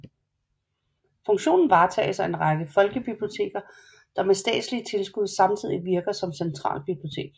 Funktionen varetages af en række folkebiblioteker der med statslige tilskud samtidig virker som centralbibliotek